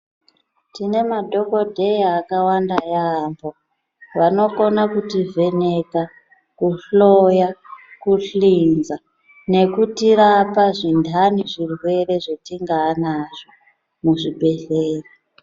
Tine madhokodheya akawanda yambo vanokona kuti vheneka kuhloyo kuhlinza nekutirapa zvindani zvirwere zvatinganazvo muzvibhedhlera.